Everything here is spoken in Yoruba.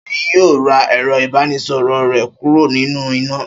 Ṣèyí yọ ẹ̀rọ-ìbánisọ̀rọ̀ rẹ̀ kúrò nínú iná.